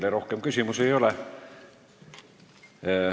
Teile rohkem küsimusi ei ole.